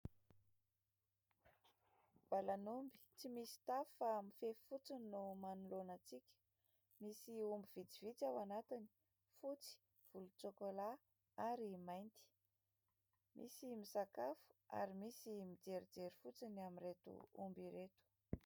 Valan'omby tsy misy tafo fa mifefy fotsiny no manoloana antsika. Misy omby vitsivitsy ao anatiny : fotsy, volontsôkôla, ary mainty. Misy misakafo ary misy mijerijery fotsiny amin'ireto omby ireto.